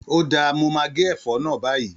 Ó dáà, mo máa gé ẹ̀fọ́ náà báyìí.